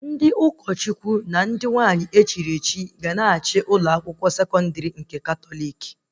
Ndị revrendi fada na ndị sista ga-na achị ụlọ akwụkwọ sekọndrị